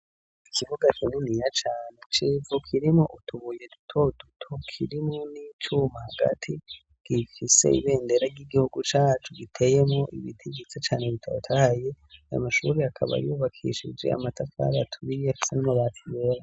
Ikibuga kininiya cane c'ivu, kirimwo utubuye dutoduto, kirimo n'icuma, hagati gifise ibendera ry'igihugu cacu giteyemwo ibiti vyiza cane bitotahaye, ayo mashuri akaba yubakishije amatafara aturiye n'amabati yera.